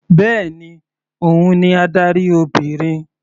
Bẹ́ẹ̀ni, òun ni adarí Obìnrin.